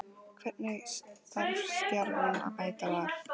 Hvernig þarf Stjarnan að mæta Val?